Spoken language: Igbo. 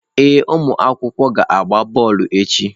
Ee ụmụ akwụkwọ ga-agba bọọlụ echi.